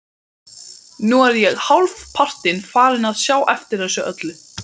Nú er ég hálfpartinn farinn að sjá eftir þessu öllu.